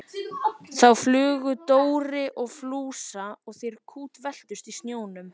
Þá flaug Dóri á Fúsa og þeir kútveltust í snjónum.